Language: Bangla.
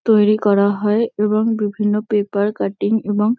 তৈরী করা হয় এবং বিভিন্ন পেপার কাটিং এবং--